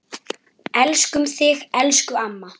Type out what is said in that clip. Elskum þig, elsku amma.